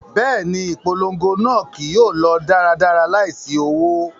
Bẹẹni, ipolongo naa kii yóò lọ daradara laisi owo